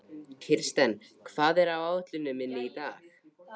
Kirsten, hvað er á áætluninni minni í dag?